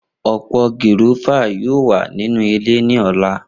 Opo gúrọ́fà yoo wa ninu ile ni ọla.